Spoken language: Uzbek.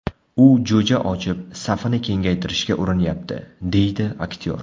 U jo‘ja ochib, safini kengaytirishga urinyapti, – deydi aktyor.